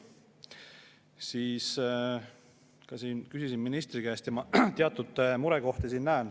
Küsisin selle kohta ministri käest, sest ma näen siin teatud murekohti.